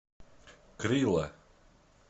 крила